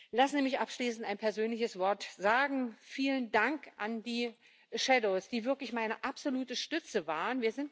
Lassen Sie mich abschließend ein persönliches Wort sagen Vielen Dank an die Schattenberichterstatter, die wirklich meine absolute Stütze waren.